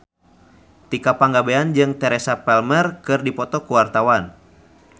Tika Pangabean jeung Teresa Palmer keur dipoto ku wartawan